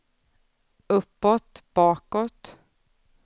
uppåt bakåt